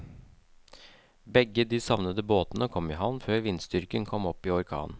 Begge de savnede båtene kom i havn før vindstyrken kom opp i orkan.